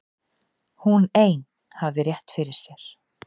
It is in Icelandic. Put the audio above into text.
Hún ein hafði rétt fyrir sér.